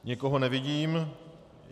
Nikoho nevidím.